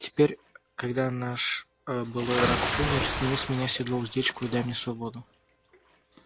теперь когда наш былой враг умер сними с меня седло уздечку и дай мне свободу